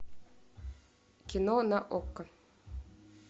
кино на окко